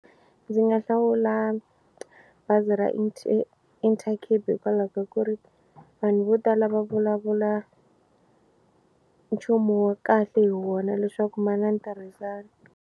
Ndzi nga hlawula bazi ra Intercape hikwalaho ka ku ri vanhu vo tala va vulavula nchumu wa kahle hi wona leswaku ma na ni ntirhisano.